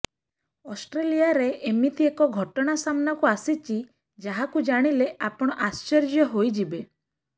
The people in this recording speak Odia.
ଅଷ୍ଟ୍ରେଲିଆରେ ଏମିତି ଏକ ଘଟଣା ସାମ୍ନାକୁ ଆସିଛି ଯାହାକୁ ଜାଣିଲେ ଆପଣ ଆଶ୍ଚର୍ଯ୍ୟ ହୋଇଯିବେ